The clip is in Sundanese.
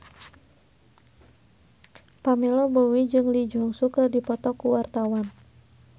Pamela Bowie jeung Lee Jeong Suk keur dipoto ku wartawan